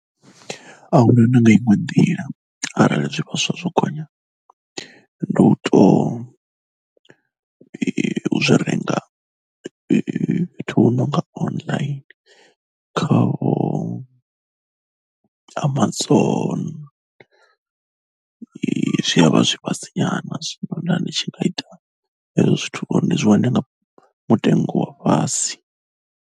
A hu na na nga iṅwe ḓila arali zwivhaswa zwo gonya ndi u tou u zwi renga fhethu hu no nga online khaho a Amazon zwi a vha zwi fhasi nyana zwino nda ndi tshi nga ita hezwo zwithu uri ndi zwi wane nga mutengo wa fhasi.